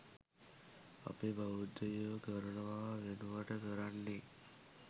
අපේ බෞද්ධයෝ කරනවා වෙනුවට කරන්නේ